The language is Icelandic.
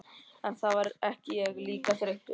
En þá verð ég líka þreyttur.